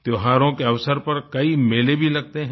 त्योहारों के अवसर पर कई मेले भी लगते हैं